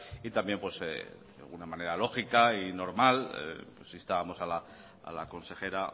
también de una manera lógica y normal instábamos a la consejera